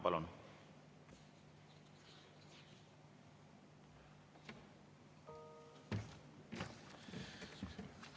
Palun!